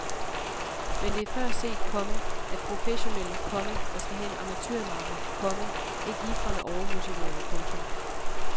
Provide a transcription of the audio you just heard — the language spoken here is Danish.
Men det er før set, komma at professionelle, komma der skal have en amatørmakker, komma ikke ligefrem er overmotiverede. punktum